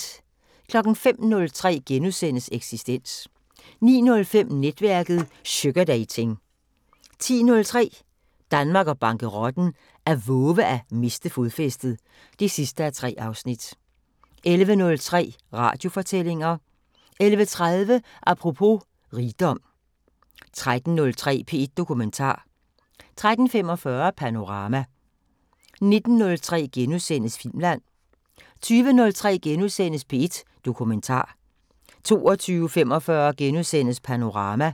05:03: Eksistens * 09:05: Netværket: Sugardating 10:03: Danmark og bankerotten: At vove er at miste fodfæstet (3:3) 11:03: Radiofortællinger 11:30: Apropos . rigdom 13:03: P1 Dokumentar 13:45: Panorama 19:03: Filmland * 20:03: P1 Dokumentar * 20:45: Panorama *